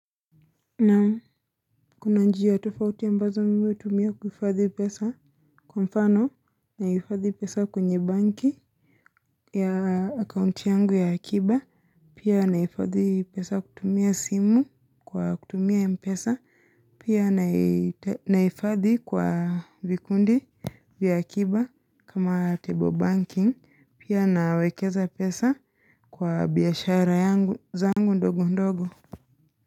Naam, kuna njia tofauti ambazo mimi hutumia kuifadhi pesa. Kwa mfano, naifadhi pesa kwenye banki ya account yangu ya akiba. Pia naifadhi pesa kutumia simu kwa kutumia mpesa. Pia naifadhi kwa vikundi vya akiba kama table banking. Pia nawekeza pesa kwa biashara yangu zangu ndogo ndogo.